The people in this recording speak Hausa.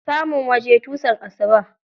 Samun waje tusan asuba.